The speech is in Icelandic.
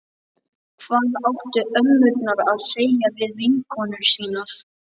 Hvað áttu ömmurnar að segja við vinkonur sínar?